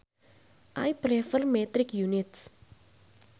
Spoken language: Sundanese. I prefer metric units